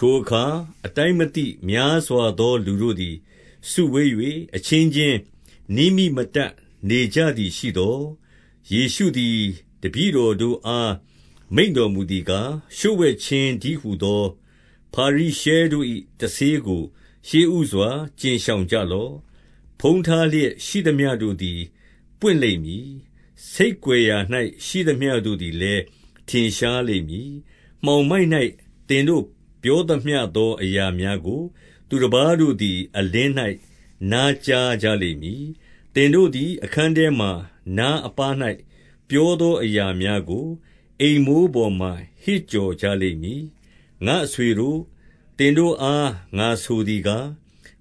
ထိုအခါ အတိုင်းမသိများစွာသော လူတို့သည်စုဝေး၍ အချင်းချင်း နင်းမိမတတ် နေကြသည်ရှိသော်၊ ယေရှုသည် တပည့်တော်တို့အား မိန့်တော်မူသည်ကား၊ လျှို့ဝှက်ခြင်းတည်းဟူသော ဖာရိရှဲတို့၏ တဆေးကို ရှေ့ဦးစွာ ကြဉ်ရှောင်ကြလော့။ 2 ဖုံးထားလျက်ရှိသမျှတို့သည် ပွင့်လိမ့်မည်။ ဆိတ်ကွယ်ရာ၌ ရှိသမျှတို့သည်လည်း ထင်ရှားလိမ့်မည်။ 3 မှောင်မိုက်၌ သင်တို့ပြောသမျှသောအရာများကို သူတပါးတို့သည်အလင်း၌ နားကြားကြလိမ့်မည်။ သင်တို့သည် အခန်းထဲမှာ နားအပါး၌ ပြောသောအရာများကို အိမ်မိုးပေါ်မှာ ဟစ်ကြော်ကြလိမ့်မည်။ 4 ငါ့အဆွေတို့၊ သင်တို့အား ငါဆိုသည်ကား၊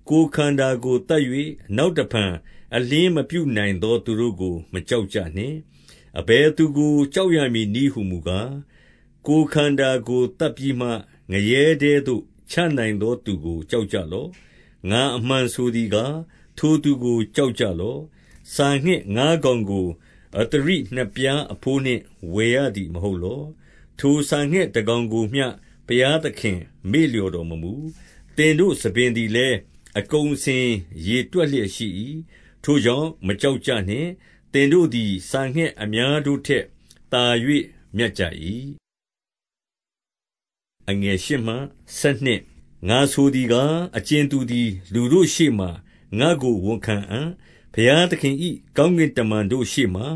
ကိုယ်ခန္ဓာကိုသတ်၍ နောက်တဖန် အလျှင်းမပြုနိုင်သော သူတို့ကို မကြောက်ကြနှင့်။ 5 အဘယ်သူကို ကြောက်ရမည်နည်းဟူမူကား၊ ကိုယ်ခန္ဓာကိုသတ်ပြီးမှ ငရဲထဲသို့ ချနိုင်သောသူကို ကြောက်ကြလော့။ ငါအမှန်ဆိုသည်ကား၊ ထိုသူကို ကြောက်ကြလော့။ 6 စာငှက်ငါးကောင်ကို အဿရိနှစ်ပြားအဘိုးနှင့် ဝယ်ရသည်မဟုတ်လော။ ထိုစာငှက်တကောင်ကိုမျှ ဘုရားသခင်မေ့လျော့တော်မမူ။ 7 သင်တို့ ဆံပင်သည်လည်း အကုန်အစင် ရေတွက်လျက်ရှိ၏။ ထိုကြောင့် မကြောက်ကြနှင့်။ သင်တို့ သည် စာငှက်အများတို့ထက်သာ၍ မြတ်ကြ၏။ 8 ငါဆိုသည်ကား၊ အကြင်သူသည် လူတို့ရှေ့မှာ ငါ့ကိုဝန်ခံအံ့။ ဘုရားသခင်၏ ကောင်းကင်တမန်တို့ရှေ့ မှာ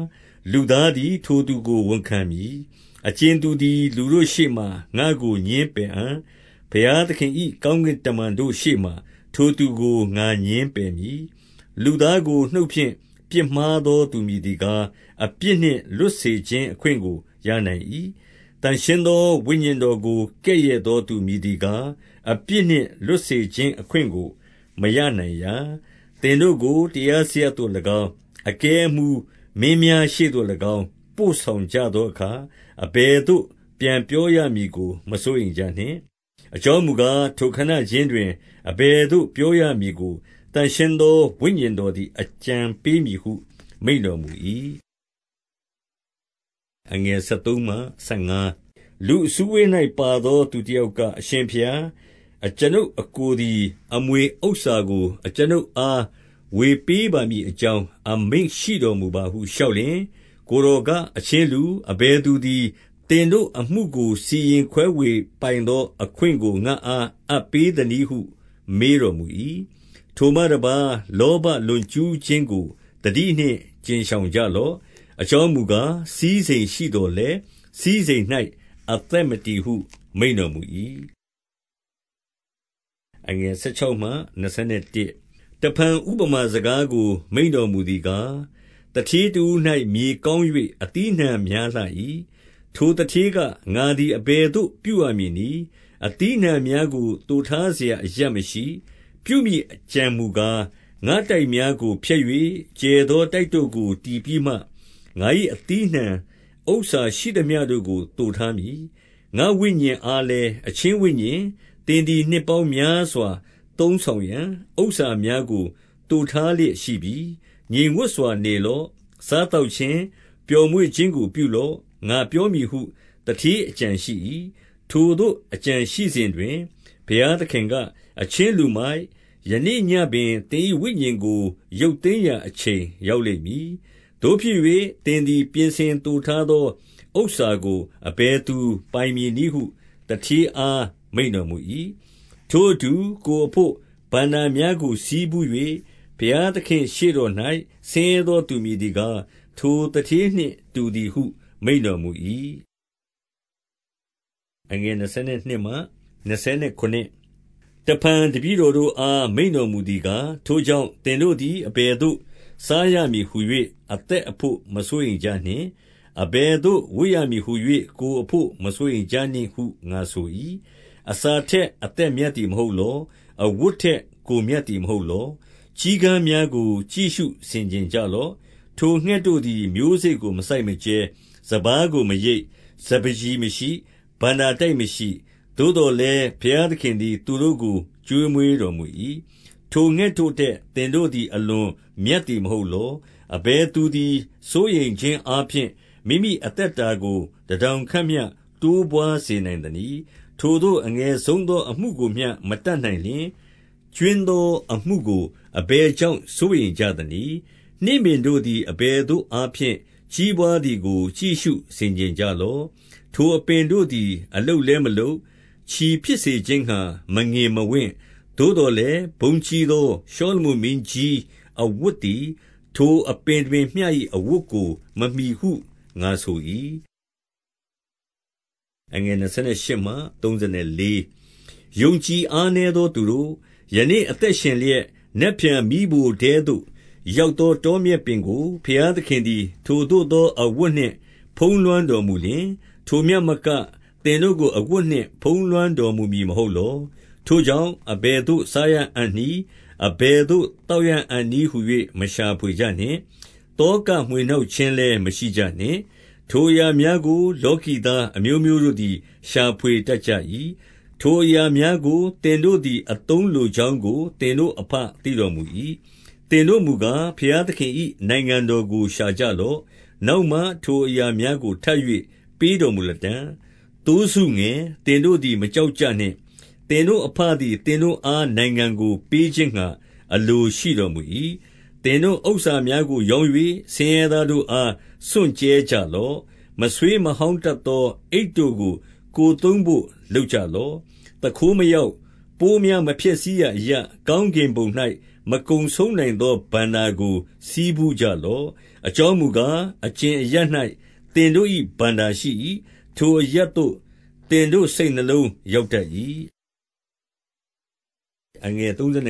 လူသားသည် ထိုသူကိုဝန်ခံမည်။ 9 အကြင်သူသည် လူတို့ရှေ့မှာငါကိုငြင်းပယ်အံ့။ ဘုရားသခင်၏ ကောင်းကင်တမန်တို့ ရှေ့မှာထိုသူကို ငါငြင်းပယ်မည်။ 10 လူသားကို နှုတ်ဖြင့်ပြစ်မှားသောသူမည်သည်ကား၊ အပြစ်နှင့်လွတ်စေခြင်းအခွင့်ကို ရနိုင်၏။ သန့်ရှင်း သော ဝိညာဉ်တော်ကို ကဲ့ရဲ့သောသူမည်သည်ကား၊ အပြစ်နှင့်လွတ်စေခြင်းအခွင့်ကို မရနိုင်ရာ။ 11 သင်တို့ကို တရားစရပ်သို့၎င်း၊ အကဲအမှူး၊ မင်းများရှေ့သို့၎င်း၊ ပို့ဆောင်ကြသောအခါ အဘယ်သို့ ပြန် ပြောရမည်ကို မစိုးရိမ်ကြနှင့်။ 12 အကြောင်းမူကား၊ ထိုခဏခြင်းတွင် အဘယ်သို့ပြောရမည်ကို သန့်ရှင်းသောဝိညာဉ်တော်သည် အကြံ ပေးမည်ဟု မိန့်တော်မူ၏။ 13 လူအစုအဝေး၌ပါသော သူတယောက်က၊ အရှင်ဘုရား၊ အကျွန်ုပ်အစ်ကိုသည် အမွေဥစ္စာကို အကျွန်ုပ် အား ဝေပေးပါမည်အကြောင်း အမိန့်ရှိတော်မူပါဟု လျှောက်လျှင်၊ 14 ကိုယ်တော်က အချင်းလူ၊ အဘယ်သူသည် သင်တို့အမှုကို စီရင်ခွဲဝေပိုင်သောအခွင့်ကို ငါ့အား အပ် ပေးသနည်းဟု မေးတော်မူ၏။ 15 ထိုမှတပါး လောဘလွန်ကျူးခြင်းကို သတိနှင့် ကြဉ်ရှောင်ကြလော့။ အကြောင်းမူကား၊ စည်းစိမ်ရှိသော် လည်း စည်းစိမ်၌ အသက်မတည်ဟု မိန့်တော်မူ၏။ 16 တဖန် ဥပမာစကားကို မိန့်တော်မူသည်ကား၊ သူဌေးတဦး၌ မြေကောင်း၍ အသီးအနှံများလှ၏။ 17 ထိုသူဌေးက၊ ငါသည် အဘယ်သို့ ပြုရမည်နည်း။ အသီးအနှံများကို သိုထားစရာအရပ်မရှိ။ 18 ပြုမည်အကြံမူကား၊ ငါ့တိုက်များကိုဖျက်၍ ကျယ်သောတိုက်တို့ကို တည်ပြီးမှ၊ ငါ၏ အသီးအနှံဥစ္စာ ရှိသမျှတို့ကို သိုထားမည်။ 19 ငါ့ဝိညာဉ်အားလည်း၊ အချင်းဝိညာဉ်၊ သင်သည် နှစ်ပေါင်းများစွာသုံးဆောင်ရန် ဥစ္စာများကို သိုထား လျက်ရှိပြီ။ ငြိမ်ဝပ်စွာနေလော့။ စားသောက်ခြင်း၊ ပျော်မွေ့ခြင်းကို ပြုလော့။ ငါပြောမည်ဟု သူဌေးအကြံရှိ၏။ 20 ထိုသို့ အကြံရှိစဉ်တွင် ဘုရားသခင်က၊ အချင်းလူမိုက်၊ ယနေ့ညဉ့်ပင် သင်၏ဝိညာဉ်ကို ရုပ်သိမ်းရာ အချိန်ရောက်လိမ့်မည်။ သို့ဖြစ်၍ သင်သည် ပြင်ဆင်သိုထားသော ဥစ္စာကို အဘယ်သူပိုင်မည်နည်းဟု သူဌေး အား မိန့်တော်မူ၏။ 21 ထိုအတူ ကိုယ်အဘို့ ဘဏ္ဍာများကိုဆည်းဖူး၍၊ ဘုရားသခင်ရှေ့တော်၌ ဆင်းရဲသောသူ မည်သည်ကား၊ ထိုသူဌေးနှင့်တူသည်ဟု မိန့်တော်မူ၏။ 22 တဖန် တပည့်တော်တို့အား မိန့်တော်မူသည်ကား၊ ထိုကြောင့် သင်တို့သည် အဘယ်သို့ စားရမည်ဟူ၍ အသက်အဘို့ မစိုးရိမ်ကြနှင့်။ အဘယ်သို့ ဝတ်ရမည်ဟူ၍ ကိုယ်အဘို့ မစိုးရိမ်ကြနှင့်ဟု ငါဆို၏။ 23 အစာထက် အသက်မြတ်သည်မဟုတ်လော။ အဝတ်ထက် ကိုယ်မြတ်သည်မဟုတ်လော။ 24 ကျီးကန်းများကို ကြည့်ရှုဆင်ခြင်ကြလော့။ ထိုငှက်တို့သည် မျိုးစေ့ကိုမစိုက်မကြဲ၊ စပါးကိုမရိတ်၊ စပါး ကျီမရှိ၊ ဘဏ္ဍာတိုက်မရှိ။ သို့သော်လည်း ဘုရားသခင်သည် သူတို့ကို ကျွေးမွေးတော်မူ၏။ ထိုငှက်တို့ထက် သင်တို့သည် အလွန်မြတ်သည်မဟုတ်လော။ 25 အဘယ်သူသည် စိုးရိမ်ခြင်းအားဖြင့် မိမိအသက်တာကို တထောင်ခန့်မျှ တိုးပွားစေနိုင်သနည်း။ 26 ထိုသို့ အငယ်ဆုံးသောအမှုကိုမျှမတတ်နိုင်လျှင် ကြွင်းသောအမှုကို အဘယ်ကြောင့်စိုးရိမ်ကြသနည်း။ 27 နှင်းပင်တို့သည် အဘယ်သို့သောအားဖြင့် ကြီးပွားသည်ကို ကြည့်ရှုဆင်ခြင်ကြလော့။ ထိုအပင်တို့ သည် အလုပ်လည်းမလုပ်၊ ချည်ဖြစ်စေခြင်းငှါမငင်မဝင့်။ သို့သော်လည်း ဘုန်းကြီးသော ရှောလမုန်မင်းကြီး အဝတ်သည် ထိုအပင်တပင်မျှ၏အဝတ်ကို မမှီဟု ငါဆို၏။ 28 ယုံကြည်အားနည်းသောသူတို့၊ ယနေ့အသက်ရှင်လျက်၊ နက်ဖြန်မီးဖိုထဲသို့ရောက်သော တောမြက်ပင် ကို ဘုရားသခင်သည် ထိုသို့သောအဝတ်နှင့် ဖုံးလွှမ်းတော်မူလျှင်၊ ထိုမျှမက သင်တို့ကို အဝတ်နှင့် ဖုံးလွှမ်း တော်မူမည်မဟုတ်လော။ 29 ထိုကြောင့် အဘယ်သို့ စားရအံ့နည်း။ အဘယ်သို့ သောက်ရအံ့နည်းဟူ၍ မရှာဖွေကြနှင့်။ သောကမွှေ နှောက်ခြင်းလည်း မရှိကြနှင့်။ 30 ထိုအရာများကို လောကီသားအမျိုးမျိုးတို့သည် ရှာဖွေတတ်ကြ၏။ ထိုအရာများကို သင်တို့သည် အသုံးလိုကြောင်းကို သင်တို့အဘ သိတော်မူ၏။ 31 သင်တို့မူကား ဘုရားသခင်၏ နိုင်ငံတော်ကို ရှာကြလော့။ နောက်မှ ထိုအရာများကို ထပ်၍ ပေးတော် မူလတံ့။ 32 သိုးစုငယ်၊ သင်တို့သည် မကြောက်ကြနှင့်။ သင်တို့အဘသည် သင်တို့အား နိုင်ငံကိုပေးခြင်းငှါ အလို ရှိတော်မူ၏။ 33 သင်တို့ဥစ္စာများကို ရောင်း၍ ဆင်းရဲသားတို့အား စွန့်ကြဲကြလော့။ မဆွေးမဟောင်းတတ်သော အိတ် တို့ကို ကိုယ်သုံးဘို့ လုပ်ကြလော့။ သူခိုးမရောက်၊ ပိုးများမဖျက်ဆီးရာအရပ်၊ ကောင်းကင်ဘုံ၌ မကုန်မဆုံးနိုင် သော ဘဏ္ဍာကို ဆည်းဖူးကြလော့။ 34 အကြောင်းမူကား၊ အကြင်အရပ်၌ သင်တို့၏ဘဏ္ဍာရှိ၏။ ထိုအရပ်သို့ သင်တို့စိတ်နှလုံးရောက် တတ်၏။ 35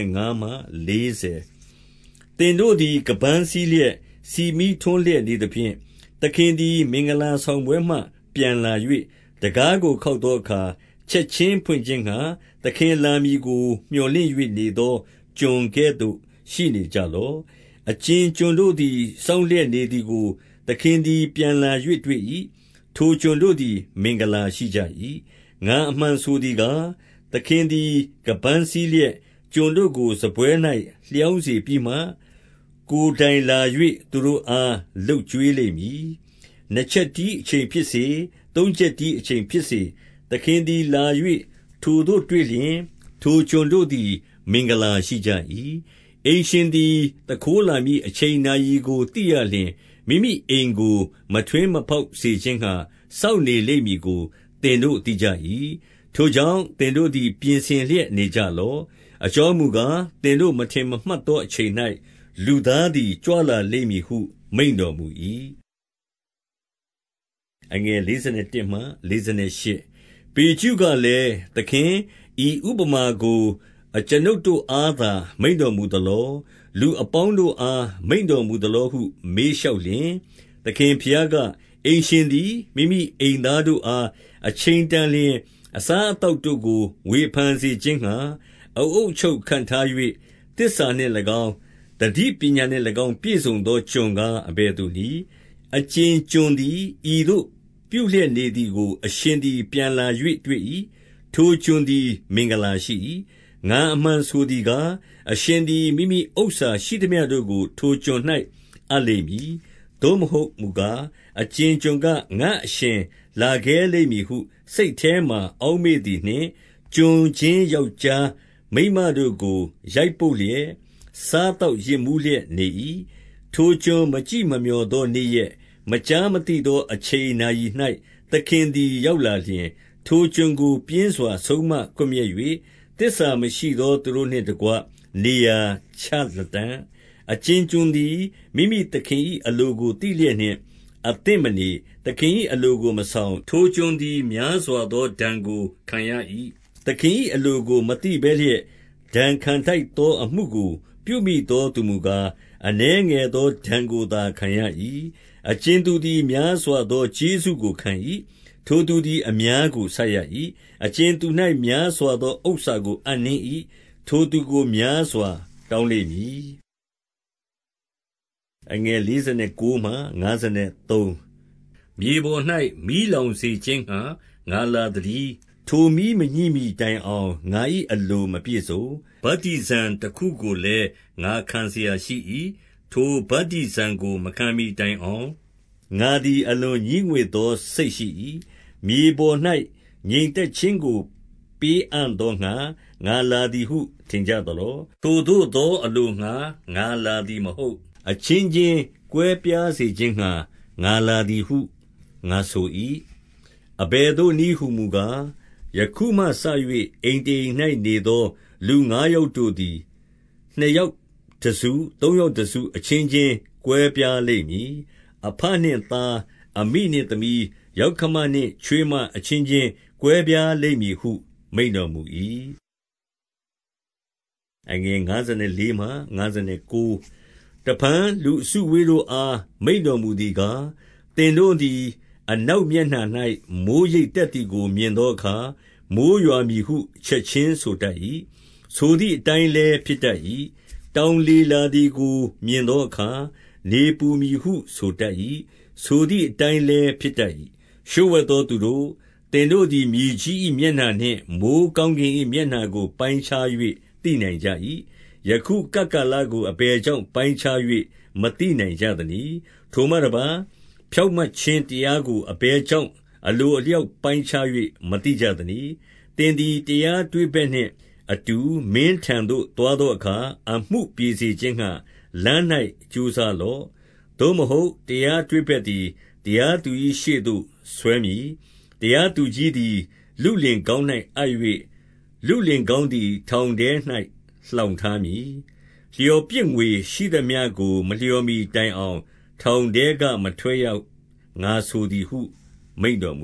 သင်တို့သည် ခါးပန်းစည်းလျက်၊ ဆီမီးထွန်းလျက်နေသဖြင့်၊ 36 သခင်သည် မင်္ဂလာဆောင်ပွဲမှ ပြန်လာ၍ တံခါးကိုခေါက်သောအခါ ချက်ခြင်းဖွင့်ခြင်းငှါ သခင် လာမည်ကို မြော်လင့်၍နေသော ကျွန်ကဲ့သို့ ရှိနေကြလော့။ 37 အကြင်ကျွန်တို့သည် စောင့်လျက်နေသည်ကို သခင်သည်ပြန်လာ၍တွေ့၏။ ထိုကျွန်တို့သည် မင်္ဂလာ ရှိကြ၏။ ငါအမှန်ဆိုသည်ကား၊ သခင်သည် ခါးပန်းစည်းလျက် ကျွန်တို့ကို စားပွဲ၌ လျောင်းစေပြီးမှ၊ ကိုယ်တိုင် လာ၍ သူတို့အားလုပ်ကျွေးလိမ့်မည်။ 38 နှစ်ချက်တီးအချိန်ဖြစ်စေ၊ သုံးချက်တီးအချိန်ဖြစ်စေ၊ သခင်သည်လာ၍ ထိုသို့တွေ့လျှင်၊ ထိုကျွန်တို့ သည် မင်္ဂလာရှိကြ၏။ 39 အိမ်ရှင်သည် သူခိုးလာမည်အချိန်နာရီကို သိရလျှင်၊ မိမိအိမ်ကို မထွင်းမဖောက်စေခြင်းငှါ စောင့်နေ လိမ့်မည်ကို သင်တို့သိကြ၏။ 40 ထိုကြောင့် သင်တို့သည် ပြင်ဆင်လျက်နေကြလော့။ အကြောင်းမူကား၊ သင်တို့မထင်မှတ်သောအချိန် ၌ လူသားသည် ကြွလာလိမ့်မည်ဟု မိန့်တော်မူ၏။ 41 ပေတရုကလည်း၊ သခင်၊ ဤဥပမာကို အကျွန်ုပ်တို့အားသာ မိန့်တော်မူသလော။ လူအပေါင်းတို့အား မိန့်တော်မူသလောဟု မေးလျှောက်လျှင်၊ 42 သခင်ဘုရားက၊ အိမ်ရှင်သည် မိမိအိမ်သားတို့အား အချိန်တန်လျှင် အစားအသောက်တို့ကို ဝေဖန်စေ ခြင်းငှါ အအုပ်အချုပ်ခန့်ထား၍ သစ္စာနှင့်၎င်း၊ သတိပညာနှင့်၎င်း ပြည့်စုံသောကျွန်ကား အဘယ်သူနည်း။ 43 အကြင်ကျွန်သည် ဤသို့ပြုလျက်နေသည်ကို အရှင်သည် ပြန်လာ၍တွေ့၏။ ထိုကျွန်သည် မင်္ဂလာ ရှိ၏။ 44 ငါအမှန်ဆိုသည်ကား၊ အရှင်သည် မိမိဥစ္စာရှိသမျှတို့ကို ထိုကျွန်၌ အပ်လိမ့်မည်။ 45 သို့မဟုတ်မူကား၊ အကြင်ကျွန်က၊ ငါ့အရှင်လာခဲလိမ့်မည်ဟု စိတ်ထဲ၌ အောက်မေ့သည်နှင့် ကျွန်ချင်း ယောက်ျားမိန်းမတို့ကို ရိုက်ပုတ်လျက်၊ စားသောက်ယစ်မူးလျက် နေ၏။ 46 ထိုကျွန်မကြည့်မမျှော်သောနေ့ရက်၊ မကြားမသိသောအချိန်နာရီ၌ သခင်သည် ရောက်လာလျှင်၊ ထိုကျွန်ကို ပြင်းစွာ ဆုံးမကွပ်မျက်၍ သစ္စာမရှိသောသူတို့နှင့်တကွ နေရာချလတံ့။ 47 အကြင်ကျွန်သည် မိမိသခင်၏ အလိုကိုသိလျက်နှင့် အသင့်မနေ၊ သခင်၏အလိုကို မဆောင်၊ ထိုကျွန် သည် များစွာသော ဒဏ်ကိုခံရ၏။ 48 သခင်၏အလိုကို မသိဘဲလျက်၊ ဒဏ်ခံထိုက်သောအမှုကို ပြုမိသောသူမူကား၊ အနည်းငယ်သော ဒဏ် ကိုသာ ခံရ၏။ အကြင်သူသည် အများကိုဆပ်ရ၏။ အကြင်သူ၌ များစွာသောဥစ္စာကို အပ်နှင်း၏။ ထိုသူကို များစွာတောင်းလိမ့်မည်။ 49 မြေပေါ်၌ မီးလောင်စေခြင်းငှါ ငါလာသတည်း။ ထိုမီးမညှိမှီတိုင်အောင် ငါ၏အလိုမပြည့်စုံ။ ဗတ္တိဇံ တခုကိုလည်း ငါခံစရာရှိ၏။ 50 ထိုဗတ္တိဇံကို မခံမှီတိုင်အောင် ငါသည် အလွန်ငြီးငွေ့သောစိတ်ရှိ၏။ 51 မြေပေါ်၌ ငြိမ်သက်ခြင်းကို ပေးအံ့သောငှါ ငါလာသည်ဟု ထင်ကြသလော။ ထိုသို့သောအလိုငှါ ငါလာ သည်မဟုတ်။ အချင်းချင်းကွဲပြားစေခြင်းငှါ ငါလာသည်ဟု ငါဆို၏။ 52 အဘယ်သို့နည်းဟူမူကား၊ ယခုမှစ၍ အိမ်တအိမ်၌နေသော လူငါးယောက်တို့သည် နှစ်ယောက်တစု သုံးယောက်တစုအချင်းချင်း ကွဲပြားလိမ့်မည်။ 53 အဘနှင့်သား၊ အမိနှင့်သမီး၊ ယောက္ခမနှင့် ချွေးမအချင်းချင်း ကွဲပြားလိမ့်မည်ဟု မိန့်တော်မူ၏။ 54 တဖန် လူအစုအဝေးတို့အား မိန့်တော်မူသည်ကား၊ သင်တို့သည် အနောက်မျက်နှာ၌ မိုဃ်းရိပ်တက် သည်ကို မြင်သောအခါ မိုဃ်းရွာမည်ဟု ချက်ခြင်းဆိုတတ်၏။ 55 တောင်လေလာသည်ကို မြင်သောအခါ နေပူမည်ဟု ဆိုတတ်၏။ ဆိုသည်အတိုင်းလည်း ဖြစ်တတ်၏။ 56 လျှို့ဝှက်သောသူတို့၊ သင်တို့သည် မြေကြီး၏မျက်နှာနှင့် မိုဃ်းကောင်းကင်၏မျက်နှာကို ပိုင်းခြား၍ သိနိုင်ကြ၏။ ယခု ကပ်ကာလကို အဘယ်ကြောင့်ပိုင်းခြား၍ မသိနိုင်ကြသနည်း။ 57 ထိုမှတပါးဖြောင့်မတ်ခြင်းတရားကို အဘယ်ကြောင့် အလိုအလျောက်ပိုင်းခြား၍ မသိကြသနည်း။ 58 သင်သည်တရားတွေ့ဘက်နှင့်အတူ မင်းထံသို့သွားသောအခါ အမှုပြေစေခြင်းငှါ လမ်း၌ကြိုးစားလော့။ သို့မဟုတ် တရားတွေ့ဘက်သည်တရားသူကြီးရှေ့သို့ဆွဲမည်။ တရားသူကြီးသည် လုလင်ခေါင်း၌အပ်၍၊ လုလင် ခေါင်းသည် ထောင်ထဲ၌ လှောင်ထားမည်။ 59 လျော်ပြစ်ငွေရှိသမျှကို မလျော်မှီတိုင်အောင် ထောင်ထဲကမထွက်ရ၊ ငါဆိုသည်ဟု မိန့်တော်မ